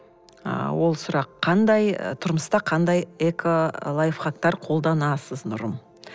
ы ол сұрақ қандай тұрмыста қандай ыыы эколайфхактар қолданасыз нұрым